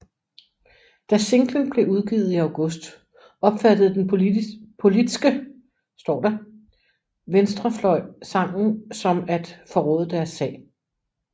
Da singlen blev udgivet i august opfattede den politske venstrefløj sangen som at forråde deres sag